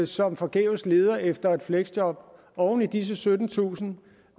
som forgæves leder efter fleksjob og oven i disse syttentusind